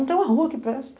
Não tem uma rua que preste.